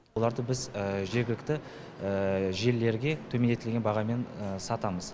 оларды біз жергілікті желілерге төмендетілген бағамен сатамыз